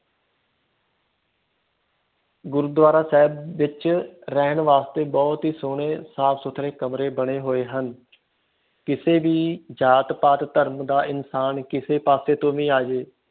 ਗੁਰੂਦਵਾਰਾ ਸਾਹਿਬ ਵਿਚ ਰਹਿਣ ਵਾਸਤੇ ਬਹੁਤ ਬਹੁਤ ਹੀ ਸੋਹਣੇ ਸਾਫ ਸੁਥਰੇ ਕਮਰੇ ਬਣੇ ਹੋਈਏ ਹਨ ਕਿਸੇ ਵੀ ਜਾਤ ਪਾਤ ਦਾ ਇਨਸਾਨ ਕਿਸੇ ਪਾਸੇ ਤੋਂ ਵੀ ਆ ਜੇ